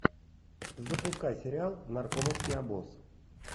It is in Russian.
запускай сериал наркомовский обоз